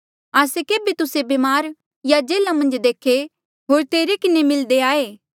आस्से केभे तुस्से ब्मार या जेल्हा मन्झ देखे होर तेरे किन्हें मिल्दे आये